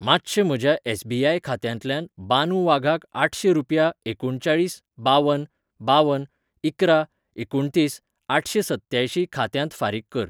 मातशें म्हज्या एस.बी.आय. खात्यांतल्यान बानू वाघाक आठशें रुपया एकुणचाळीस बावन बावन इकरा एकुणतीस आठशेंसत्त्यांयशीं खात्यांत फारीक कर. .